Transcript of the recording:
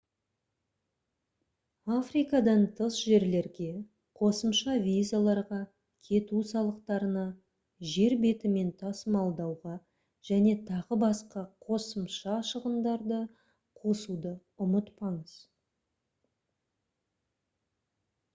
африкадан тыс жерлерге қосымша визаларға кету салықтарына жер бетімен тасымалдауға және т.б. қосымша шығындарды қосуды ұмытпаңыз